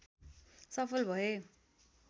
सफल भए